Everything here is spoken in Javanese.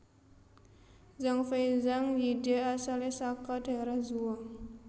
Zhang Fei Zhang Yide asalé saka daerah Zhuo